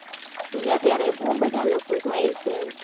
અત્યારે બો લોકો જાય છે